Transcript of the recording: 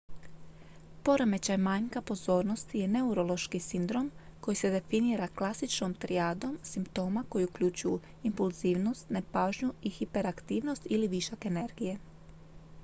"poremećaj manjka pozornosti "je neurološki sindrom koji se definira klasičnom trijadom simptoma koji uključuju impulzivnost nepažnju i hiperaktivnost ili višak energije.""